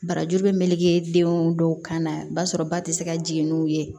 Barajuru bɛ meleke denw dɔw kan na basɔrɔ ba tɛ se ka jigin n'u ye